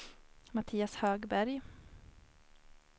Mattias Högberg